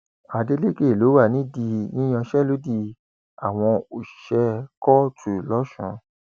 adeleke ló wà nídìí ìyanṣẹlódì àwọn òṣìṣẹ kóòtù lọsùn